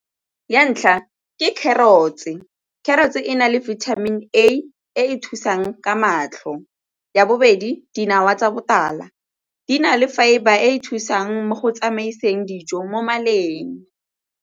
Ya ntlha ke carrots-e, carrots-e e na le vitamin e e thusang ka matlho. Ya bobedi, dinawa tsa botala di na le fibre e e thusang mo go tsamaiseng dijo mo maleng.